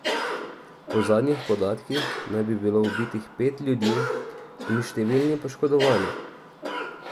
Po zadnjih podatkih naj bi bilo ubitih pet ljudi in številni poškodovani.